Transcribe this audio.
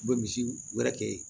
U bɛ misiw wɛrɛ kɛ yen